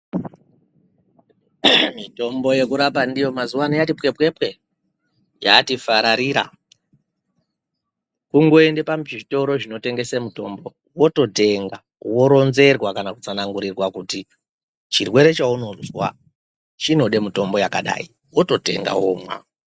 Mitombo yekurapa ndiyo mazuvano yati pwepwepwe yati fararira; kungoende pazvitoro zvinotengese mitombo wototenga, woronzerwa kana kutsanangurirwa kuti chirwere chaunozwa chinode mitombo yakadai wototenga womwa.